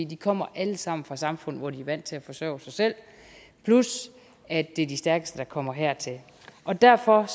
de kommer alle sammen fra samfund hvor de er vant til at forsørge sig selv plus at det er de stærkeste der kommer hertil derfor